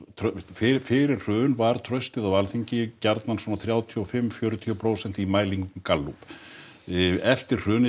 fyrir fyrir hrun var traustið á Alþingi gjarnan svona þrjátíu og fimm til fjörutíu prósent í mælingum Gallup eftir hrunið